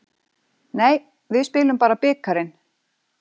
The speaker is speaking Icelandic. Nei, við spilum bara bikarinn.